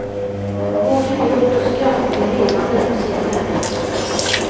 Både gråt och skratt är renande för sinnet.